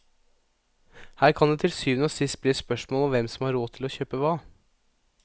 Her kan det til syvende og sist bli et spørsmål om hvem som har råd til å kjøpe hva.